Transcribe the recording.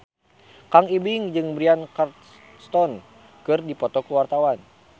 Kang Ibing jeung Bryan Cranston keur dipoto ku wartawan